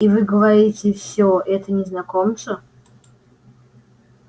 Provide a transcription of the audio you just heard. и вы говорите всё это незнакомцу